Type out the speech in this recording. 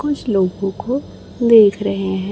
कुछ लोगों को देख रहे हैं।